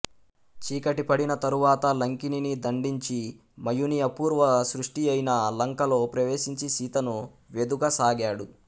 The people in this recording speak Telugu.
చీకటి పడిన తరువాత లంకిణిని దండించి మయుని అపూర్వ సృష్టియైన లంకలో ప్రవేశించి సీతను వెదుకసాగాడు